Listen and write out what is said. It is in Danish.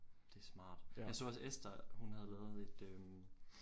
Det smart. Jeg så også Ester hun havde lavet et øh